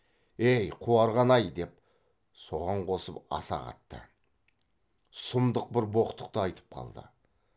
әй қуарған ай деп соған қосып аса қатты сұмдық бір боқтықты айтып қалды